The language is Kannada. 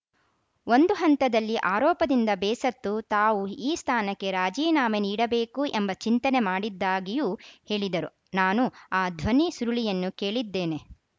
ಒಂದು ಹಂತದಲ್ಲಿ ಆರೋಪದಿಂದ ಬೇಸತ್ತು ತಾವು ಈ ಸ್ಥಾನಕ್ಕೆ ರಾಜೀನಾಮೆ ನೀಡಬೇಕು ಎಂಬ ಚಿಂತನೆ ಮಾಡಿದ್ದಾಗಿಯೂ ಹೇಳಿದರು ನಾನು ಆ ಧ್ವನಿ ಸುರುಳಿಯನ್ನು ಕೇಳಿದ್ದೇನೆ